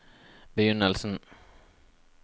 begynnelsen